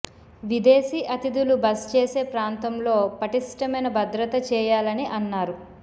విదేశి అతిధులు బస చేసే ప్రాంతంలో పటిష్టమైన భద్రత చేయాలని అన్నారు